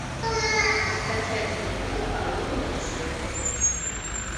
скачать мультфильм холодное сердце